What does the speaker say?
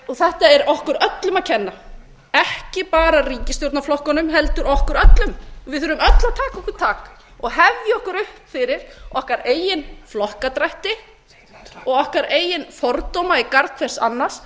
þetta er okkur öllum að kenna ekki bara ríkisstjórnarflokkunum heldur okkur öllum við þurfum öll að taka okkur tak og hefja okkur upp fyrir okkar eigin flokkadrætti og okkar eigin fordóma í garð hvers annars